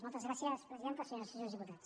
moltes gràcies presidenta senyores i senyors diputats